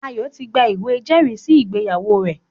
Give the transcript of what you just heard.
Ayo ti gba ìwé ìjẹ́rìísí ìgbéyàwó rẹ̀